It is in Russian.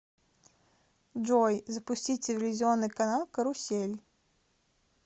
джой запустить телевизионный канал карусель